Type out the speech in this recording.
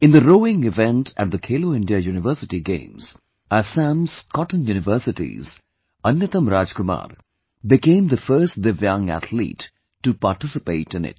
In the rowing event at the Khelo India University Games, Assam's Cotton University's Anyatam Rajkumar became the first Divyang athlete to participate in it